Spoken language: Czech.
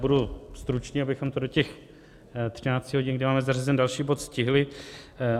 Budu stručný, abychom to do těch 13 hodin, kdy máme zařazen další bod, stihli.